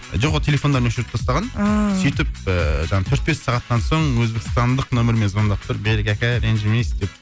жоқ ол телефондарын өшіріп тастаған ааа сөйтіп ііі жаңағы төрт бес сағаттан соң өзбекстандық нөмірмен звондап тұр берік ака ренжімейсіз деп